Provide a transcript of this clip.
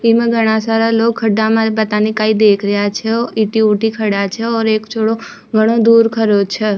इमा घड़ा सारा लोग खड्डा मा पता न काई देख रहा छे ऐति ओति खड्या छह और एक छोरा घनो दूर खड्यो छे।